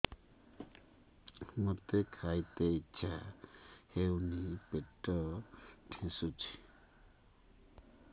ମୋତେ ଖାଇତେ ଇଚ୍ଛା ହଉନି ପେଟ ଠେସୁଛି